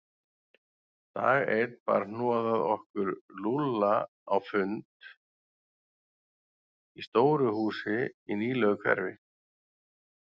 Dag einn bar hnoðað okkur Lúlla á fund í stóru húsi í nýlegu hverfi.